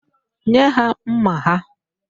Nye ya mma ha!